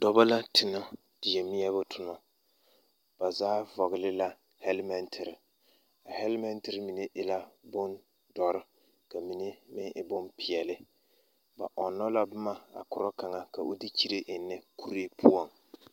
Dɔba la tonɔ die meɛbo toma ba zaa vɔgle la hɛlemɛntere a hɛlemɛntere mine e la bondɔre ka mine meŋ e bompeɛle ba ɔnnɔ la boma korɔ kaŋa ka o de kyire eŋnɛ kuree poɔŋ.